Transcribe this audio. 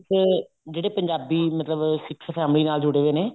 ਵਿੱਚ ਜਿਹੜੇ ਪੰਜਾਬੀ ਮਤਲਬ ਸਿੱਖ family ਨਾਲ ਜੁੜੇ ਹੋਏ ਨੇ